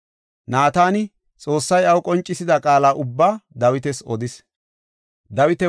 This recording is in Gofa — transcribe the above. Naatani Xoossay iyaw qoncisida qaala ubbaa Dawitas odis.